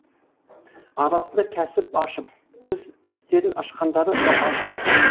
арасында кәсіп ашып із істерін ашқандары да баршылық